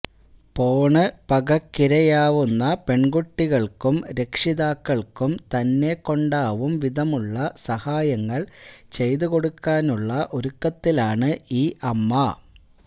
പോണ് പകയ്ക്കിരയാവുന്ന പെണ്കുട്ടികൾക്കും രക്ഷിതാക്കൾക്കും തന്നെക്കൊണ്ടാവും വിധമുള്ള സഹായങ്ങള് ചെയ്തു കൊടുക്കാനുള്ള ഒരുക്കത്തിലാണ് ഈ അമ്മ